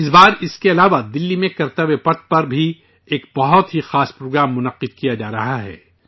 اس بار اس کے علاوہ دہلی میں کرتویہ پتھ پر ایک بہت ہی خاص پروگرام منعقد ہو رہا ہے